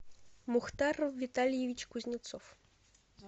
мухтар витальевич кузнецов